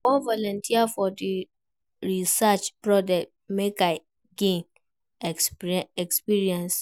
I wan volunteer for di research project make I gain experience.